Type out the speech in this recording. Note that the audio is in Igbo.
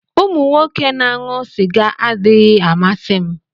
Umu Nwoke na-aṅụ sịga adịghị amasị m